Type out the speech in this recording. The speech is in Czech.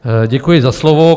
Děkuji za slovo.